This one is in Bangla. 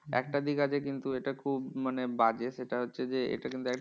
একটা দিক আছে কিন্তু এটা খুব মানে বাজে সেটা হচ্ছে যে এটা কিন্তু একটা